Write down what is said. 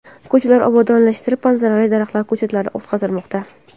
Ko‘chalar obodonlashtirilib, manzarali daraxt ko‘chatlari o‘tqazilmoqda.